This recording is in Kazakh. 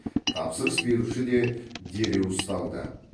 тапсырыс беруші де дереу ұсталды